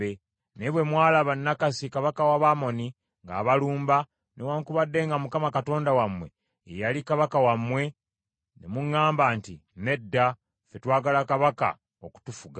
Naye bwe mwalaba Nakkasi kabaka w’Abamoni ng’abalumba, newaakubadde nga Mukama Katonda wammwe ye yali kabaka wammwe ne muŋŋamba nti, ‘Nedda, ffe twagala kabaka okutufuga.’